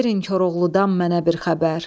Verin Koroğludan mənə bir xəbər.